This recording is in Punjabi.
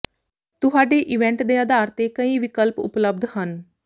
ਤੁਹਾਡੇ ਇਵੈਂਟ ਦੇ ਆਧਾਰ ਤੇ ਕਈ ਵਿਕਲਪ ਉਪਲੱਬਧ ਹਨ